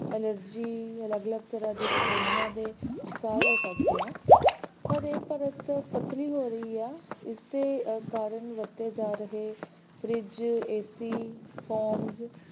allergy ਅਲਗ -ਅਲਗ ਤਰ੍ਹਾਂ ਦੀ ਰਸੌਲੀਆਂ ਦੇ ਸ਼ਿਕਾਰ ਹੋ ਸਕਦੇ ਆ ਪਰ ਇਹ ਪਰਤ ਪਤਲੀ ਹੋ ਰਹੀ ਹੈ ਇਸ ਦੇ ਕਾਰਣ ਵਧਦੇ ਜਾ ਰਹੇ fridge, ac, phones,